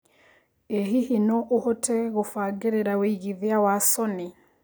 ĩ hihi no ũhote gũbagĩrira wĩigĩthĩa gwa sony